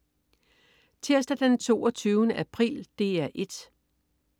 Tirsdag den 22. april - DR 1: